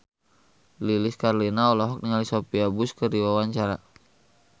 Lilis Karlina olohok ningali Sophia Bush keur diwawancara